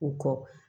U kɔ